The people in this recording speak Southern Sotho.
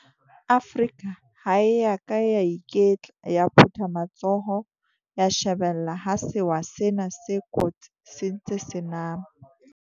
Afrika ha e ya ka ya iketla ya phutha matsoho ya shebella ha sewa sena se kotsi se ntse se nama.